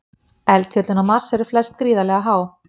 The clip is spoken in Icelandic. Eldfjöllin á Mars eru flest gríðarlega há.